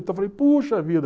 Então eu falei, puxa vida.